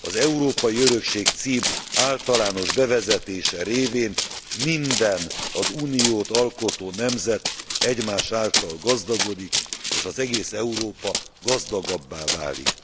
Az Európai Örökség cím általános bevezetése révén minden, az Uniót alkotó nemzet egymás által gazdagodik, és egész Európa gazdagabbá válik.